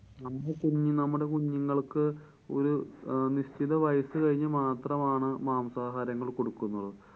നമ്മളു തിന്നു~നമ്മുടെ കുഞ്ഞുങ്ങള്‍ക്ക്‌ ഒരു നിശ്ചിത വയസ്സു കഴിഞ്ഞ് മാത്രമാണ് മാംസാഹാരങ്ങള്‍ കൊടുക്കുന്നത്.